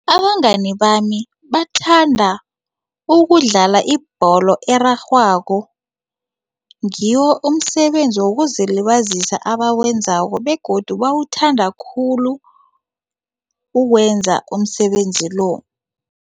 Abangani bami bathanda ukudlala ibholo erarhwako ngiwo umsebenzi wokuzilibazisa abawenzako begodu bawuthanda khulu ukuwenza umsebenzi lo.